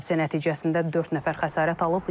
Hadisə nəticəsində dörd nəfər xəsarət alıb.